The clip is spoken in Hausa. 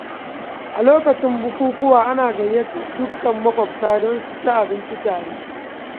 A lokacin bukukuwa, ana gayyatar dukkan maƙwabta don su ci abinci tare.